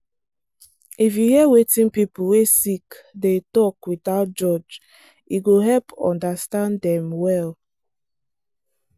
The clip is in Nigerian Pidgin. if you hear wetin people wey sick dey talk without judge e go help understand dem well.